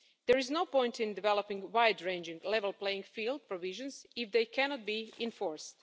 There is no point in developing wide ranging level playing field provisions if they cannot be enforced.